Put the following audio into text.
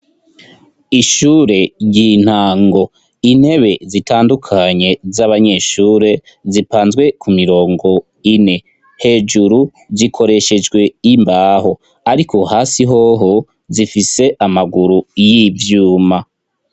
Ishure ry'intango, intebe zitandukanye z'abanyeshure zipanzwe ku mirongo ine, hejuru zikoreshejwe imbaho ariko hasi hoho zifise amaguru y'ivyuma.